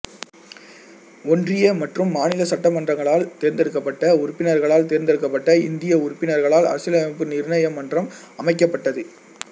ஒன்றிய மற்றும் மாநில சட்டமன்றங்களால் தேர்ந்தெடுக்கப்பட்ட உறுப்பினர்களால் தேர்ந்தெடுக்கப்பட்ட இந்திய உறுப்பினர்களால் அரசியலமைப்பு நிர்ணய மன்றம் அமைக்கப்பட்டது